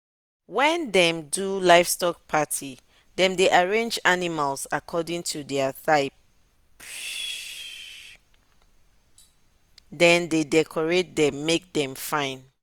when them dey do livestock party them dey arrange animals according to their type and then dey decorate them make them fine.